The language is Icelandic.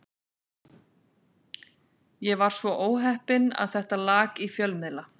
Ég var svo óheppinn að þetta lak í fjölmiðla.